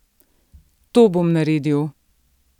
To bom naredil!